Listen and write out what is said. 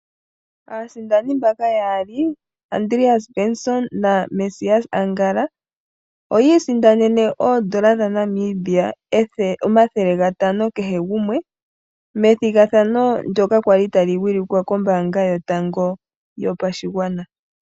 Aasindani mbaka yaali Andreas Benson naMesias Angala oyi isindanene N$ 500 kehe gumwe, methigathano ndyoka lya li tali wilikwa kombaanga yotango yopashigwana.